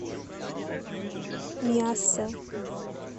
миассе